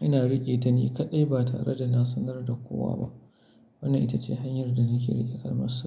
ina riƙe ta ni kaɗai ba tare da na sanar da kowa ba. Wannan ita ce hanyar da nake riƙe kalmar sirri.